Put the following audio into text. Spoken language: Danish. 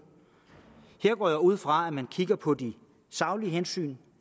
her går jeg ud fra at man kigger på de saglige hensyn